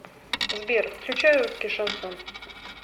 сбер включай русский шансон